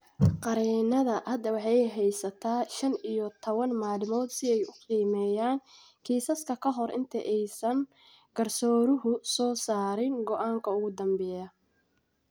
Qareenada hadda waxay haystaan shan iyo tawan maalmood si ay u qiimeeyaan kiisaska ka hor inta aysan garsooruhu soo saarin go'aanka ugu dambeeya.